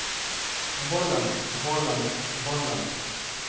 volden volden volden